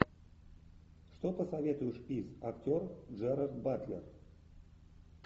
что посоветуешь из актер джерард батлер